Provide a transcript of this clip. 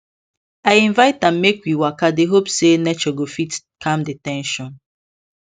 i invite am make we waka dey hope say nature go fit calm the ten sion